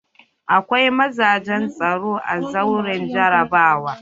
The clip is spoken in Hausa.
Akwai mazajen tsaro a zauren jarabawa.